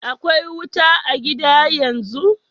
Akwai wuta a' gida yanzu?